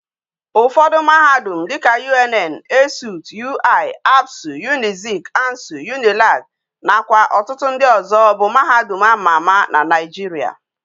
Ufodu mahadum dika UNN, ESUT, UI, ABSU, UNIZIK, ANSU, UNILAG na kwa otutu ndi ozo bu mahadum a ma ama na naijiria